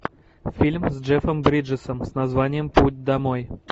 фильм с джеффом бриджесом с названием путь домой